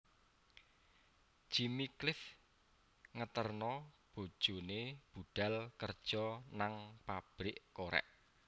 Jimmy Cliff ngeterno bojone budhal kerjo nang pabrik korek